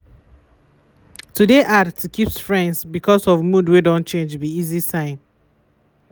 to de hard to keep friends because of mood wey don change be easy sign.